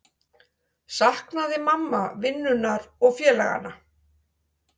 Saknaði mamma vinnunnar og félaganna?